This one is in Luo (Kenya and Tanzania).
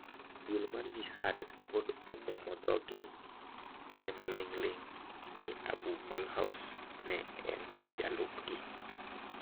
Duol mar Jihad pod omuno dhoge emaling'ling' ni Abu Malhous ne en jalupgi.